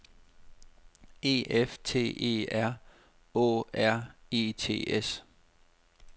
E F T E R Å R E T S